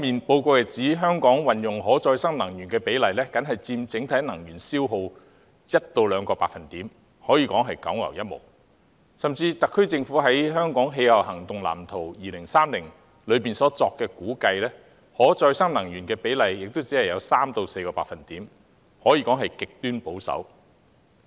報告亦指出，香港使用可再生能源的比例僅佔整體能源消耗 1% 至 2%， 可謂九牛一毛，甚至特區政府在《香港氣候行動藍圖 2030+》中所作的估計，使用可再生能源的比例亦只有 3% 至 4%， 可說極其保守。